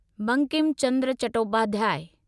Bankim Chandra Chattopadhyay